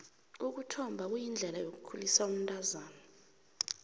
ukuthomba kuyindlela yokukhulisa umntazana